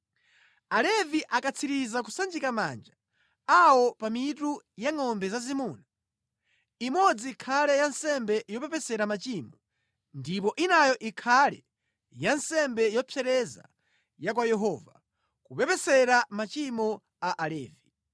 “Alevi akatsiriza kusanjika manja awo pa mitu ya ngʼombe zazimuna, imodzi ikhale ya nsembe yopepesera machimo ndipo inayo ikhale ya nsembe yopsereza ya kwa Yehova, kupepesera machimo a Alevi.